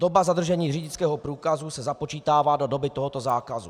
Doba zadržení řidičského průkazu se započítává do doby tohoto zákazu.